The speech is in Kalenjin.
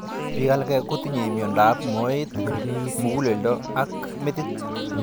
Piik alak kotinye miondop moet, mug'uleldo ak metit